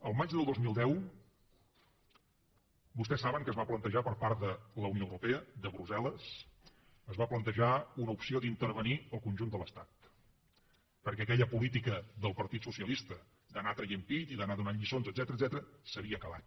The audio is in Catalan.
el maig del dos mil deu vostès saben que es va plantejar per part de la unió europea de brussel·les es va plantejar una opció d’intervenir el conjunt de l’estat perquè aquella política del partit socialista d’anar traient pit i d’anar donant lliçons etcètera s’havia acabat